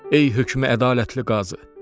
Ey hökmü ədalətli qazı!